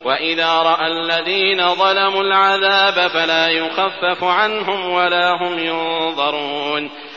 وَإِذَا رَأَى الَّذِينَ ظَلَمُوا الْعَذَابَ فَلَا يُخَفَّفُ عَنْهُمْ وَلَا هُمْ يُنظَرُونَ